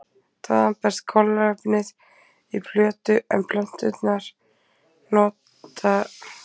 Þaðan berst kolefnið í plöntu en plöntur nota koltvíoxíð sem hráefni við ljóstillífun.